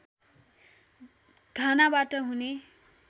घानाबाट हुने